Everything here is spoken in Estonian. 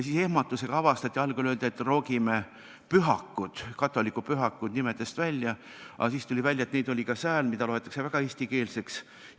Algul öeldi, et roogime katoliku pühakud nimedest välja, aga siis tuli välja, et neid oli ka nimedes, mida loeti väga eestikeelseks.